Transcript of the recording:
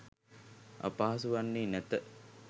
අපහසු වන්නේ නැත